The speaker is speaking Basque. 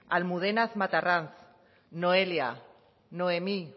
almudena matarranz noelia noemí